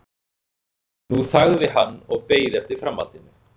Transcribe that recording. En nú þagði hann og beið eftir framhaldinu.